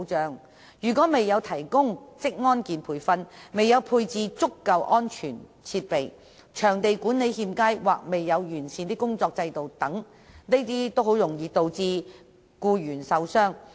在僱主未有為僱員提供職安健培訓或配置足夠安全設備及場地管理欠佳或缺乏完善的工作制度等的情況下，僱員均較易受傷。